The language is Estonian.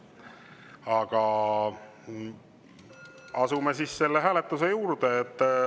Aga asume hääletuse juurde.